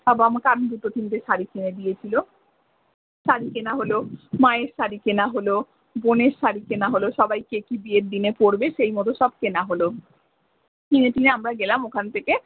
বাবা আমাকে আরো দুটো তিনটে শাড়ি কিনে দিয়েছিলো শাড়ি কেনা হলো মায়ের শাড়ি কেনা হলো বোনের শাড়ি কেনা হলো সবাই কে কি বিয়ের দিনে পড়বে সেই মতো সব কেনা হলো কিনে কিনে আমরা গেলাম ওখান থেকে।